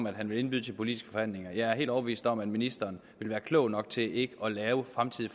at han vil indbyde til politiske forhandlinger jeg er helt overbevist om at ministeren vil være klog nok til ikke at lave fremtidig